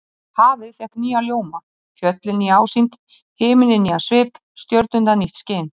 Hafið fékk nýjan ljóma, fjöllin nýja ásýnd, himinninn nýjan svip, stjörnurnar nýtt skin.